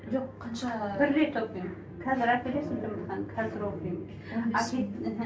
жоқ қанша бір рет оқимын қазір әкелесің жұмыртқаны қазір оқимын